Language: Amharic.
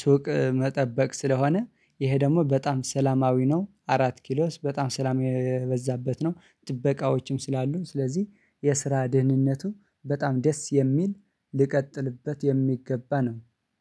ሱቅ መጠበቅ ስለሆነ ይሄ ደግሞ በጣም ሰላማዊ ነው። አራት ኪሎ በጣም ሰላም የበዛበት ነው። ጥበቃዎችም ስላሉ ስለዚህ የስራ ድህንነቱ በጣም ደስ የሚል ልቀጥልበት የሚገባ ነው